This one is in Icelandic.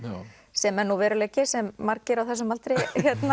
sem er nú veruleiki sem margir á þessum aldri